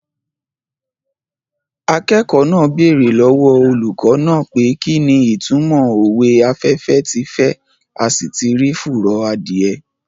Akẹ́kọ̀ọ́ náà bèrè lọ́wọ́ olùkọ́ náà pé kí ni ìtúmọ̀ òwe "afẹ́fẹ́ ti fẹ́ a sì ti rí fùrọ̀ adìẹ"